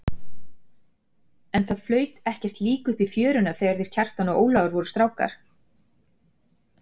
En það flaut ekkert lík upp í fjöruna þegar þeir Kjartan og Ólafur voru strákar.